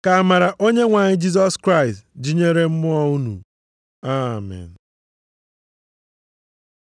Ka amara Onyenwe anyị Jisọs Kraịst dịnyere mmụọ unu. Amen.